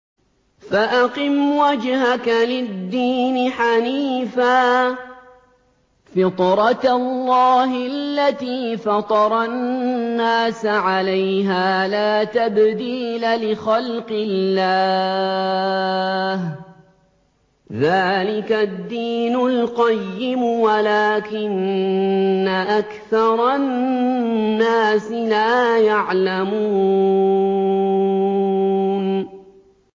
فَأَقِمْ وَجْهَكَ لِلدِّينِ حَنِيفًا ۚ فِطْرَتَ اللَّهِ الَّتِي فَطَرَ النَّاسَ عَلَيْهَا ۚ لَا تَبْدِيلَ لِخَلْقِ اللَّهِ ۚ ذَٰلِكَ الدِّينُ الْقَيِّمُ وَلَٰكِنَّ أَكْثَرَ النَّاسِ لَا يَعْلَمُونَ